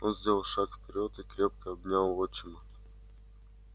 он сделал шаг вперёд и крепко обнял отчима